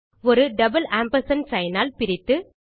ஒரு double ampersand sign ஆல் பிரித்து